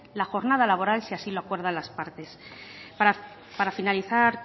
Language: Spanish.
la jornada laboral si así lo acuerdan las partes para finalizar